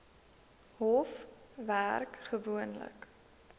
hof werk gewoonlik